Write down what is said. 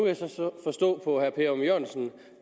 jeg så forstå på ørum jørgensen